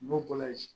N'o ko layi